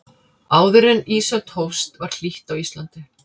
áður en ísöldin hófst var hlýtt á íslandi